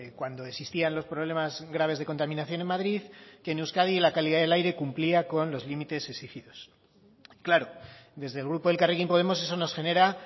cuando existían los problemas graves de contaminación en madrid que en euskadi la calidad del aire cumplía con los límites exigidos claro desde el grupo elkarrekin podemos eso nos genera